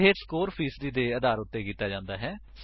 ਇਹ ਸਕੋਰ ਫ਼ੀਸਦੀ ਦੇ ਆਧਾਰ ਉੱਤੇ ਕੀਤਾ ਜਾਂਦਾ ਹੈ